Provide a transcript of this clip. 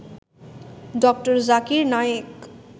ড. জাকির নায়েক